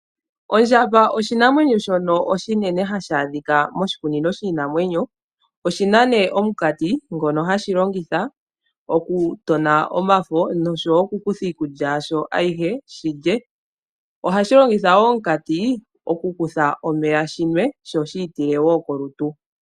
Ondjamba oshinanwenyo shono oshinene hashi adhika moshikunino shiinamwenyo. Oshina omunkanti ngono hashi longitha okutona omafo noshowo okukutha iikulya yasho ayihe, ohashi gu longitha wo okunwa omeya nokwiitila kolutu.